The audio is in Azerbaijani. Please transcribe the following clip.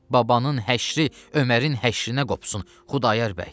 Babanın həşri Ömərin həşrinə qopsun, Xudayar bəy.